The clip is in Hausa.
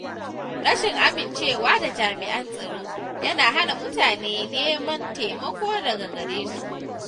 Rashin amincewa da jami’an tsaro yana hana mutane neman taimako daga gare su.